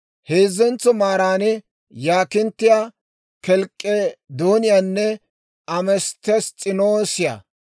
heezzentso maaran yaakinttiyaa, kelk'k'edooniyaanne ametess's'inoosiyaa;